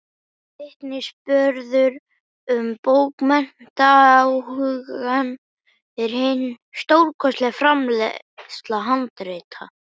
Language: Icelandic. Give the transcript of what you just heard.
Vitnisburður um bókmenntaáhugann er hin stórkostlega framleiðsla handrita.